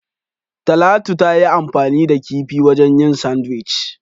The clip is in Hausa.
Talatu tayi anfani da kifi wajen yin "Sandwich".